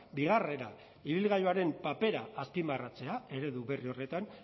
bigarrena ibilgailuaren papera azpimarratzea eredu berri horretan